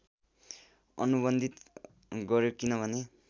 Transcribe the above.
अनुबन्धित गर्‍यो किनभने